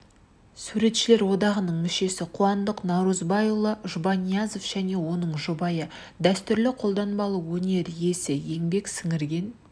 суретшілер одағының мүшесі қуандық наурызбайұлы жұбаниязов және оның жұбайы дәстүрлі қолданбалы өнер иесі еңбек сіңірген